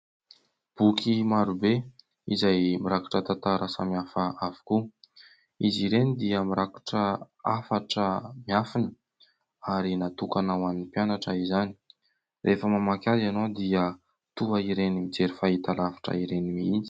Boky maro be izay mirakitra tantara samihafa avokoa, izy ireny dia mirakitra hafatra miafiny ary natokana ho an'ny mpianatra izany, rehefa mamaky azy ianao dia toa ireny mijery fahitalavitra ireny mihitsy.